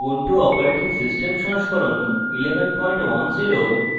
ubuntu operating system সংস্করণ 1110